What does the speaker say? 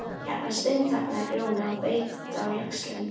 Hérna steinþagnaði Grjóni og beit á jaxlinn.